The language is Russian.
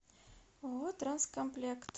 ооо транс комплект